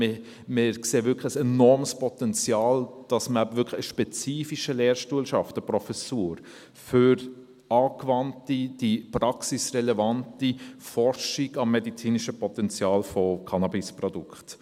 Wir sehen wirklich ein enormes Potenzial, indem man wirklich einen spezifischen Lehrstuhl schafft, eine Professur für angewandte, praxisrelevante Forschung am medizinischen Potenzial von Cannabisprodukten.